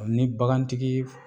Ni bagantigi